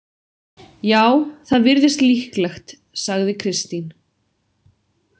Já, það virðist líklegt, sagði Kristín.